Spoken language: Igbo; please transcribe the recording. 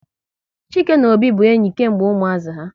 Chike na Obi bụ enyi kemgbe ụmuazi ha